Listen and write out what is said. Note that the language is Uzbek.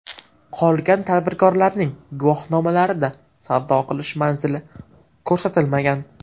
Qolgan tadbirkorlarning guvohnomalarida savdo qilish manzili ko‘rsatilmagan.